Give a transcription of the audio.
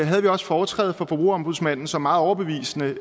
havde vi også foretræde for forbrugerombudsmanden som meget overbevisende